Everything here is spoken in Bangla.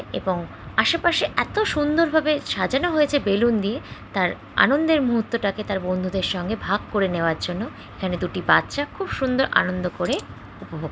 এবং আশেপাশে এত সুন্দর ভাবে সাজানো হয়েছে বেলুন দিয়ে তার আনন্দের মুহূর্তটাকে তার বন্ধুদের সঙ্গে ভাগ করে নেওয়ার জন্য এখানে দুটি বাচ্চা খুব সুন্দর আনন্দ করে উপভোগ --